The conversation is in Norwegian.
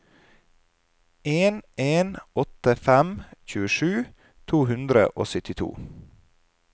en en åtte fem tjuesju to hundre og syttito